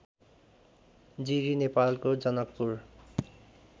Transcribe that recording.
जिरी नेपालको जनकपुर